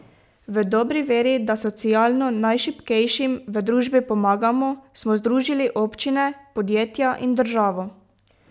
V dobri veri, da socialno najšibkejšim v družbi pomagamo, smo združili občine, podjetja in državo.